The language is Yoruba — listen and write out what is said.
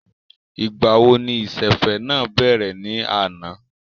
Ìgbà wo ni ìsẹ̀fẹ̀ náà bẹ̀rẹ̀ ní àná?